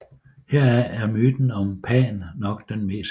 Heraf er myten om Pan nok den mest kendte